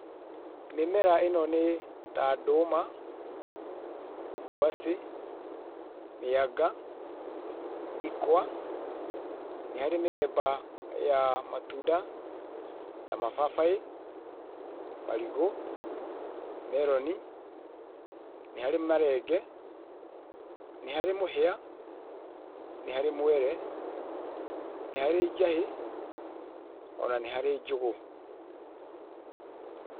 Mĩmera ĩno nĩ ta ndũma, ngwacĩ, mĩanga, ikwa nĩ harĩ mĩthemba ya matunda ta mababaĩ, marigũ, meroni, nĩ harĩ marenge, nĩ harĩ mũhĩa, nĩ harĩ mwere, nĩ harĩ njahĩ ona nĩ harĩ njũgũ.